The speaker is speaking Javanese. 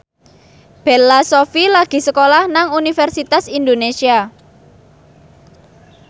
Bella Shofie lagi sekolah nang Universitas Indonesia